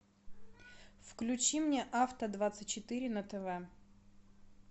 включи мне авто двадцать четыре на тв